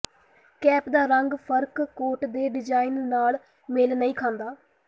cap ਦਾ ਰੰਗ ਫਰਕ ਕੋਟ ਦੇ ਡਿਜ਼ਾਇਨ ਨਾਲ ਮੇਲ ਨਹੀਂ ਖਾਂਦਾ